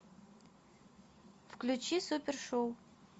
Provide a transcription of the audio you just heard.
включи супершоу